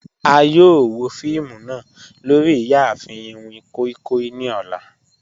A yoo wo fiimu naa lori iyaafin iwin koi koi ni ọlá